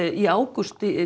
í ágúst